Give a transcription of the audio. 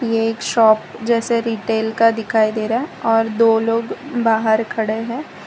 एक शॉप जैसे रिटेल का दिखाई दे रहा है और दो लोग बाहर खड़े हैं।